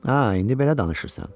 Hə, indi belə danışırsan.